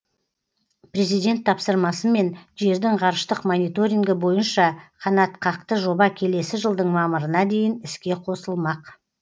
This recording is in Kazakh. президент тапсырмасымен жердің ғарыштық мониторингі бойынша қанатқақты жоба келесі жылдың мамырына дейін іске қосылмақ